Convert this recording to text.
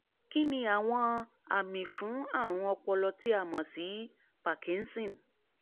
kíniàwọn àmì fún àrùn ọpọlọ tí a mọ̀ sí parkinson?